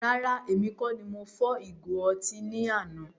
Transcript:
Rárá, èmi kọ ní mo fọ́ ìgo ọtí ní àna